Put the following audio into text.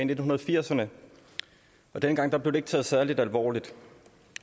nitten firserne og dengang blev det ikke taget særlig alvorligt